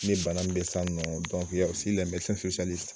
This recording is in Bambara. Ni bana min bɛ ye sisan nɔ